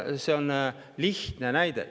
See on lihtne näide.